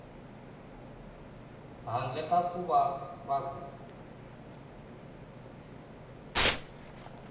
handle ka ku va ku